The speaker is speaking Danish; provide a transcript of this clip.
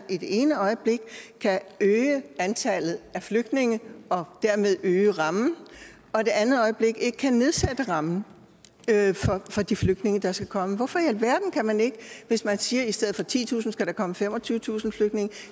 i det ene øjeblik kan øge antallet af flygtninge og dermed øge rammen og det andet øjeblik ikke kan nedsætte rammen for de flygtninge der skal komme hvorfor i alverden kan man ikke hvis man siger at der i stedet for titusind kan komme femogtyvetusind flygtninge